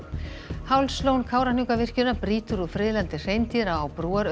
Hálslón Kárahnjúkavirkjunar brýtur úr friðlandi hreindýra á